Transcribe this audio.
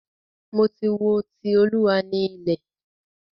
Mo ti wo "Ti Olúwa ni ilẹ̀".